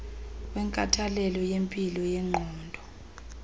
wenkathalelo yempilo yengqondo